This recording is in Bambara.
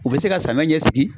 U bɛ se ka samiya ɲɛ sigi.